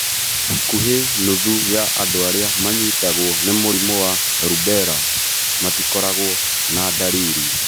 Hakuhĩ nuthu ya andũ arĩa manyitagwo nĩ mũrimũ wa rubella matikoragũo na ndariri.